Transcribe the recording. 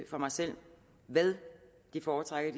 for mig selv hvad foretrækker